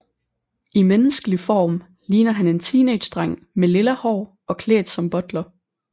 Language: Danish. I menneskelig form ligner han en teenagedreng med lilla hår og klædt som butler